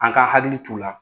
An ka hakili t'u la